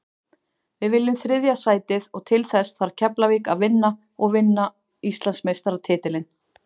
Við viljum þriðja sætið og til þess þarf Keflavík að vinna og vinna Íslandsmeistaratitilinn.